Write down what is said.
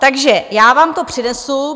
Takže já vám to přinesu.